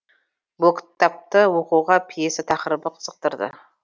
бұл кіттапты оқуға пьеса тақырыбы қызықтырды